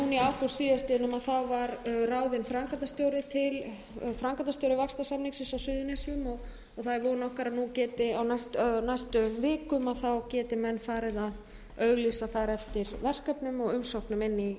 suðurnesin núna í ágúst síðastliðnum var ráðinn framkvæmdastjóri vaxtarsamningsins á suðurnesjum það er von okkar að nú geti menn á næstu vikum farið að auglýsa þar eftir verkefnum og umsóknum inn í